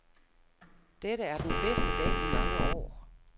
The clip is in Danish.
Dette er den bedste dag i mange år.